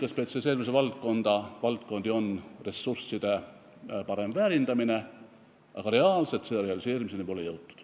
Üks nutikaid spetsialiseerumisvaldkondi on ressursside parem väärindamine, aga reaalselt pole selle realiseerimiseni jõutud.